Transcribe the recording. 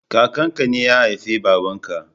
Kakan ka ne ya haifi baban ka